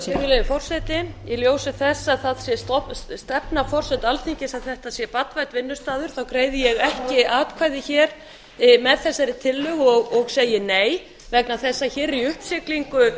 virðulegi forseti í ljósi þess að það sé stefna forseta alþingis að þetta sé barnvænn vinnustaður greiði ég ekki atkvæði hér með þessari tillögu og segi nei vegna þess að hér er í uppsiglingu